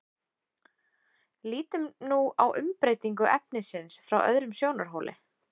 lítum nú á umbreytingu efnisins frá öðrum sjónarhóli